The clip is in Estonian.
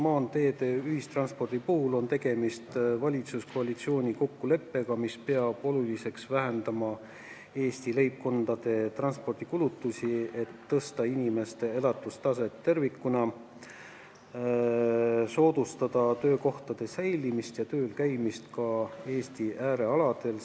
Maanteede ja ühistranspordi puhul on tegemist valitsuskoalitsiooni kokkuleppega, mille kohaselt peetakse oluliseks vähendada Eesti leibkondade transpordikulutusi, et tõsta inimeste elatustaset tervikuna, soodustada töökohtade säilimist ja tööl käimist ka Eesti äärealadel.